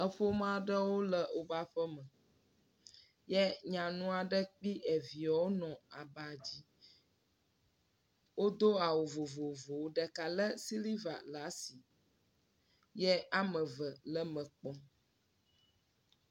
Eƒome aɖe le wo ƒe aƒeme. Wodo awu vovovowo. Ɖeka le siliva ɖe asi ye woa me eve le eme kpɔm.